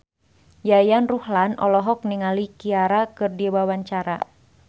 Yayan Ruhlan olohok ningali Ciara keur diwawancara